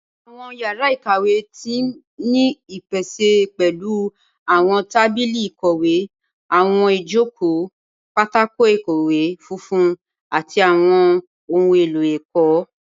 Awọn yàrá ìkàwé ti ni ipese pẹlu awọn tábìlì ìkọ̀wé awọn ijoko, pátákó ìkọ̀wé funfun, ati awọn ohun elo ẹkọ.